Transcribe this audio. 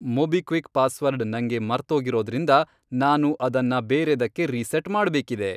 MobiKwik password ನಂಗೆ ಮರ್ತೋಗಿರೋದ್ರಿಂದ ನಾನು ಅದನ್ನ ಬೇರೇದಕ್ಕೆ ರೀಸೆಟ್ ಮಾಡ್ಬೇಕಿದೆ.